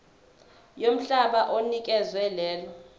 yomhlaba onikezwe lelo